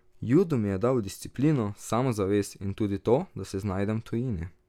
Judo mi je dal disciplino, samozavest, in tudi to, da se znajdem v tujini.